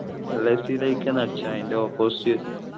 lazy ലയ്ക് ന്നു അടിച്ച മതി അതിൻ്റെ opposite